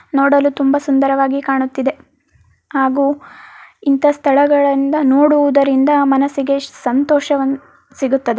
ನೋಡಲು ತುಂಬಾ ಸುಂದರವಾಗಿ ಕಾಣುತ್ತಿದೆ ಹಾಗು ಇಂತ ಸ್ಥಳಗಳಿಂದ ನೋಡುವು ದರಿಂದ ಮನಸ್ಸಿಗೆ ಸಂತೋಷವನ್ ಸಿಗುತ್ತದೆ.